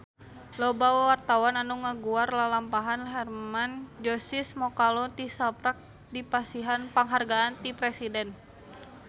Loba wartawan anu ngaguar lalampahan Hermann Josis Mokalu tisaprak dipasihan panghargaan ti Presiden